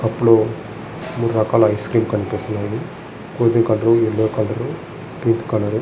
కప్పులో మూడు రకాల ఐస్ క్రీములు కనిపిస్తున్నాయి. గులాబీ రంగు colour pink colour green colour --